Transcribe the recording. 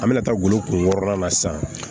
An bɛna taa golo kuru na sisan